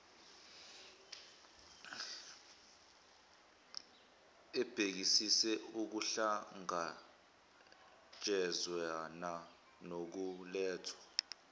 ebhekisisa ukuhlangatshezwana nokulethwa